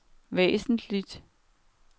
væsentligt